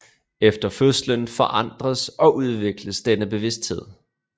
Efter fødslen forandres og udvikles denne bevidsthed